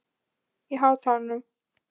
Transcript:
Ylja, lækkaðu í hátalaranum.